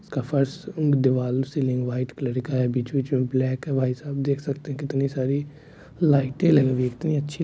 इसका फर्स दिवाल सीलिंग व्हाइट कलर का है बीच-बीच में ब्लैक है भाई साब आप देख सकते हैं कितनी सारी लाइटे लगी हुई है कितनी अच्छी--